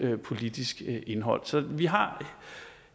politisk indhold så vi har